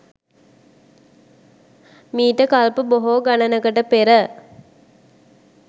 මීට කල්ප බොහෝ ගණනකට පෙර